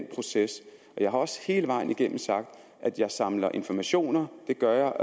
proces jeg har også hele vejen igennem sagt at jeg samler informationer det gør